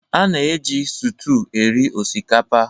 A na-eji sụtụ eri osikapa